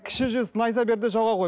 кіші жүз найза бер де жауға қой